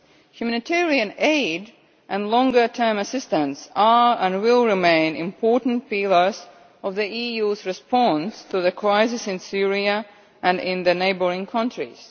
Humanitarian aid and longer term assistance are, and will remain, important pillars of the EU's response to the crisis in Syria and in the neighbouring countries.